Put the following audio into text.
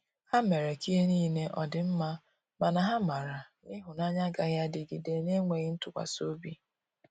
Ha mere ka ihe nile ọdi mma, mana ha mara na ihunanya agaghi adịgide n'enweghi ntụkwasi ọbị.